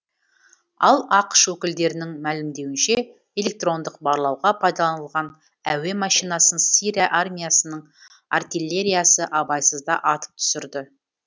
ал ақш өкілдерінің мәлімдеуінше электрондық барлауға пайдаланылған әуе машинасын сирия армиясының артиллериясы абайсызда атып түсірді